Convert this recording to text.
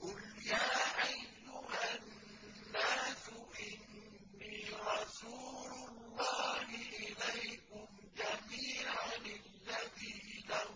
قُلْ يَا أَيُّهَا النَّاسُ إِنِّي رَسُولُ اللَّهِ إِلَيْكُمْ جَمِيعًا الَّذِي لَهُ